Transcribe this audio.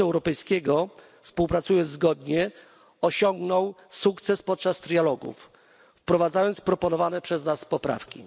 Parlamentu Europejskiego współpracując zgodnie osiągnął sukces podczas negocjacji trójstronnych, wprowadzając proponowane przez nas poprawki.